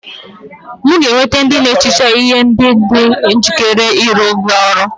M ga-eweta ndị na-ehicha ihe ndị dị njikere ịrụrụ gị ọrụ